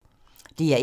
DR1